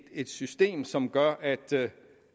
system som gør